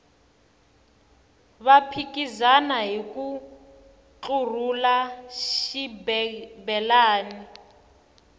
va phikizana hiku ntlurhula xibelani